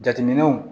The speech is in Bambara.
Jateminɛw